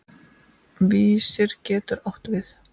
Vísir getur átt við